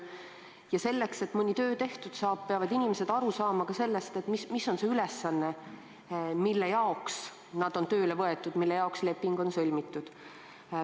Ja selleks, et mõni töö tehtud saaks, peavad inimesed aru saama, mis on see ülesanne, mille jaoks nad on tööle võetud – mille jaoks leping on sõlmitud.